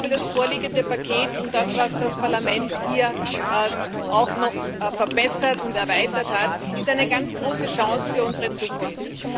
Das vorliegende Paket und das, was das Parlament hier auch noch verbessert und erweitert hat, ist eine ganz große Chance für unsere Zukunft.